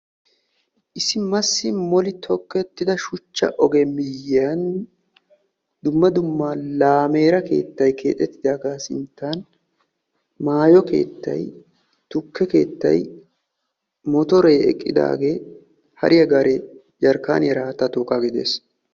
Issi massi molli tokkettidda shuchcha oge miyiyan dumma dumma laamera keettay keexettidaagaa sinttan maayo keettay tukke keettay motoree eqqidaagee hariya gaaree jerkaaniyaara haatta tookkaagee des.